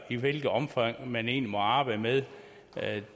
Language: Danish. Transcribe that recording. i hvilket omfang man egentlig må arbejde med